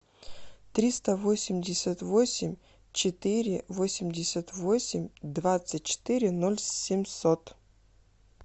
триста восемьдесят восемь четыре восемьдесят восемь двадцать четыре ноль семьсот